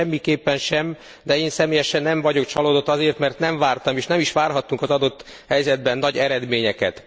Siker semmiképpen sem, de én személyesen nem vagyok csalódott, azért mert nem vártam, és nem is várhattunk az adott helyzetben nagy eredményeket.